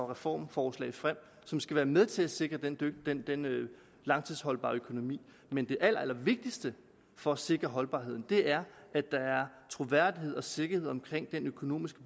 reformforslag frem som skal være med til at sikre den langtidsholdbare økonomi men det allerallervigtigste for at sikre holdbarheden er at der er troværdighed og sikkerhed omkring den økonomiske